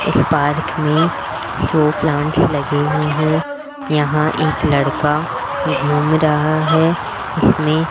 इस पार्क में show plants लगे हुए हैं यहां एक लड़का घूम रहा है इसमें --